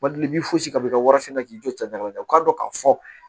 Mali b'i fosi ka bɔ i ka wariso la k'i jɔ ca u k'a dɔn k'a fɔ